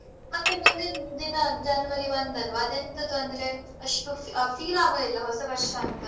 ಮತ್ತೆ ಮುಂದಿನ್ ದಿನ January ಒಂದ್ ಅಲ್ವಾ ಅದು ಎಂತದು ಅಂದ್ರೆ ಅಷ್ಟು ಆ feel ಆಗುದಿಲ್ಲ ಹೊಸ ವರ್ಷಾಂತ.